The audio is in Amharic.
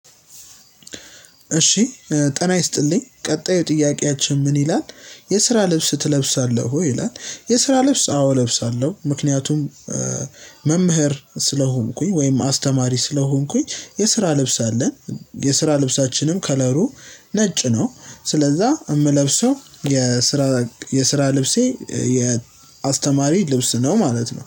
እሺ ጤና ይስጥልኝ ቀጣዩ ጥያቄያችን ምን ይላል የስራ ልብስ ትለብሳለህ ወይ ይላል? የስራ ልብስ አዎ እለብሳለሁ ምክንያቱም መምህር ስለሆንኩኝ ወይም አስተማሪ ስለሆንኩኝ የስራ ልብስ አለን የስራ ልብሳችንም ከለሩ ነጭ ነው ስለዛ የምለብሰው የስራ የስራ ልብሴ የአስተማሪ ልብስ ነው ማለት ነው